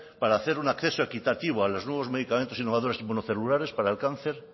para hacer un acceso equitativo a los nuevos medicamentos innovadores inmunocelulares para el cáncer